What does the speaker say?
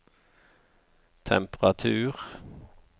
temperatur